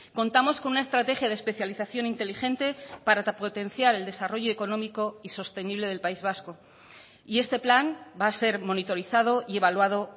contamos con una estrategia de especialización inteligente para potenciar el desarrollo económico y sostenible del país vasco y este plan va a ser monitorizado y evaluado